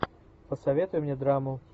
посоветуй мне драму